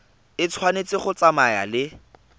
e tshwanetse go tsamaya le